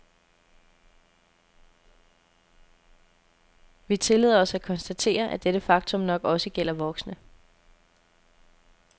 Vi tillader os at konstatere, at dette faktum nok også gælder voksne.